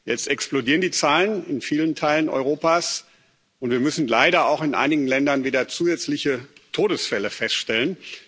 Jetzt explodieren die Zahlen in vielen Teilen Europas, und wir müssen leider auch in einigen Ländern wieder zusätzliche Todesfälle feststellen.